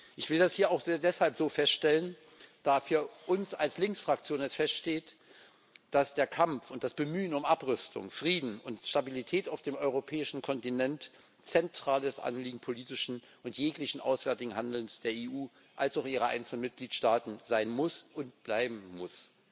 Ich will das hier auch deshalb so feststellen, da für uns als Links Fraktion feststeht, dass der Kampf und das Bemühen um Abrüstung, Frieden und Stabilität auf dem europäischen Kontinent zentrales Anliegen politischen und jeglichen auswärtigen Handelns der EU wie auch ihrer einzelnen Mitgliedstaaten sein und bleiben muss.